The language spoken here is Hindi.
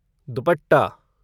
दुपट्टा